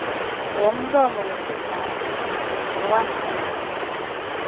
womlomo wesizalo nowamabele